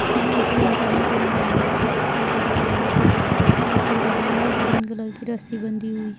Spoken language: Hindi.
यहां पर एक गाय खड़ी हुई है जिसका कलर ब्लैक और व्हाइट है जिसके गले में ग्रीन कलर की रस्सी बंधी हुई है।